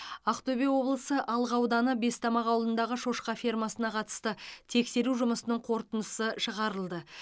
ақтөбе облысы алға ауданы бестамақ ауылындағы шошқа фермасына қатысты тексеру жұмысының қорытындысы шығарылды